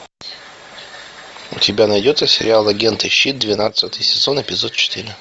у тебя найдется сериал агенты щит двенадцатый сезон эпизод четыре